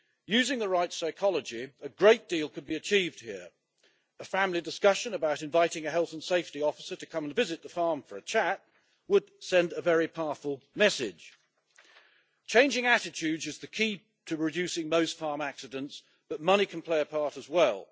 Using the right psychology, a great deal could be achieved here. A family discussion about inviting a health and safety officer to come and visit the farm for a chat would send a very powerful message. Changing attitudes is the key to reducing most farm accidents, but money can play a part as well.